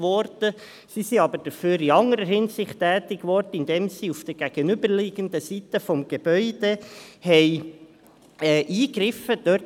Man wurde jedoch in anderer Hinsicht tätig, indem man auf der gegenüberliegenden Seite des Gebäudes eingegriffen hat: